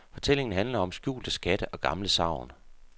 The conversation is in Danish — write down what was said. Fortællingen handler om skjulte skatte og gamle sagn.